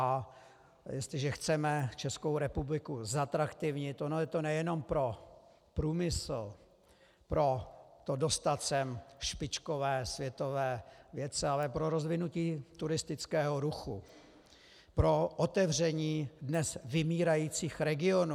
A jestliže chceme Českou republiku zatraktivnit, ono je to nejenom pro průmysl, pro to dostat sem špičkové světové vědce, ale pro rozvinutí turistického ruchu, pro otevření dnes vymírajících regionů.